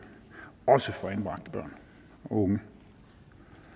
også for anbragte børn og unge